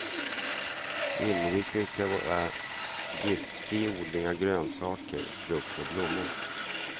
Inriktningen ska vara giftfri odling av grönsaker, frukt och blommor.